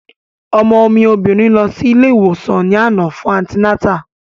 Ọmọ mi obìnrin lọ sí ilé ìwòsàn ní àná fún antinátà